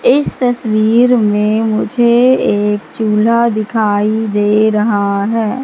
इस तस्वीर में मुझे एक चूल्हा दिखाई दे रहा है।